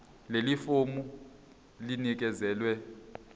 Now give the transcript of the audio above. leli fomu linikezelwe